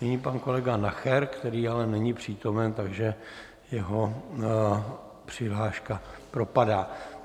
Nyní pan kolega Nacher, který ale není přítomen, takže jeho přihláška propadá.